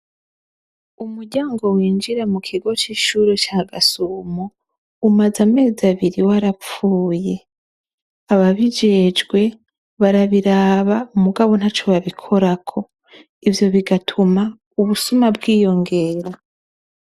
Umuryango winjira mu kigo c'ishure ca Gasumo umaze amezi abiri warapfuye. Ababijejwe barabiraba mugabo nta co babikorako ivyo bigatuma ubusuma bwiyongera.